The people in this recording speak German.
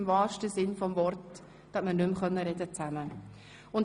Im wahrsten Sinn des Wortes konnte man nicht mehr zusammen sprechen.